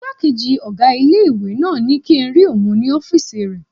Ìgbákejì ọgá ilé-ìwé náà ní kíi n rí òun ní ọ́fìsì rẹ̀